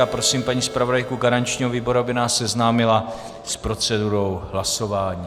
Já prosím paní zpravodajku garančního výboru, aby nás seznámila s procedurou hlasování.